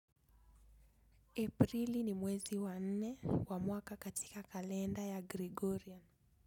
Aprili ni mwezi wa nne wa mwaka katika kalenda ya Gregorian.